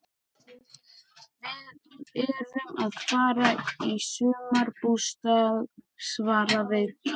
Við erum að fara upp í sumarbústað svaraði Tóti.